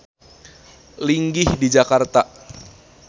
Linggih di Jakarta.